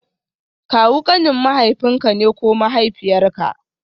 Kawu kanin mahaifinka ne ko mahaifiyarka